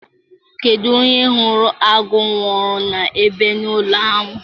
Kedu onye hụrụ agụ owuru na-ebi n'ụlọ ahụ?